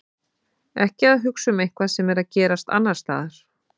Ekki að hugsa um eitthvað sem er að gerast annars staðar.